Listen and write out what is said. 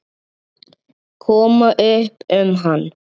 Koma upp um hann.